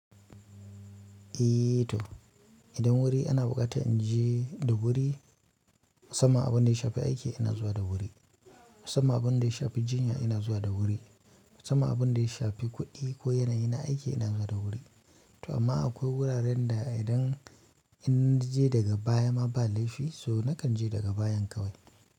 Eh to idan wuri ana buƙata in je da wuri, saman abin da ya shafi aiki ina zuwa da wuri. Sama abin da ya shafi jinya ina zuwa da wuri. Saman abin da ya shafi kuɗi ko yanayi na aiki ina zuwa da wuri. To amma akwai wuraren da idan in je daga baya ma ba laifi so nakan je daga bayan kawai.